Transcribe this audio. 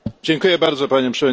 Panie Przewodniczący!